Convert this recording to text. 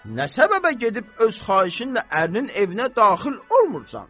Nə səbəbə gedib öz xahişinlə ərinin evinə daxil olmursan?